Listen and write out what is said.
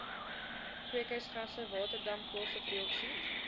kweekhuisgasse waterdamp koolstofdioksied